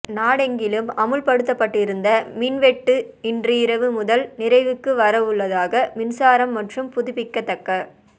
நாடெங்கிலும் அமுல்படுத்தப்பட்டிருந்த மின் வெட்டு இன்று இரவு முதல் நிறைவுக்கு வரவு ள்ளதாக மின்சாரம் மற்றும் புதுப்பிக்கத்தக்க